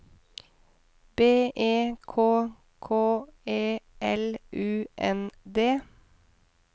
B E K K E L U N D